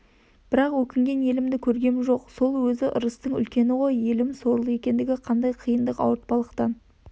бірақ өкінген елімді көргем жоқ сол озі ырыстың үлкені ғой елім сорлы ендігі қандай қиындық ауыртпалықтан